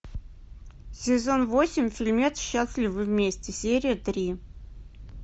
сезон восемь фильмец счастливы вместе серия три